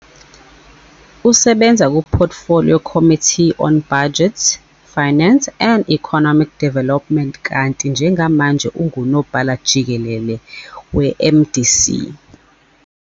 Usebenza kuPortfolio Committee on Budget, Finance and Economic Development kanti njengamanje unguNobhala Jikelele weMDC.